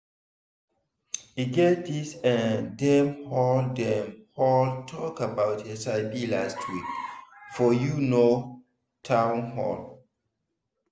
e get this eh dem hold dem hold talk about hiv last week foryou know town hall